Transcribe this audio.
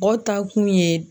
taa kun ye